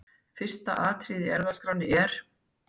Fyrsta atriðið á ERFÐASKRÁNNI er.